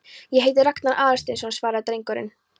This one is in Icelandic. Ég heiti Ragnar Aðalsteinsson- svaraði drengurinn.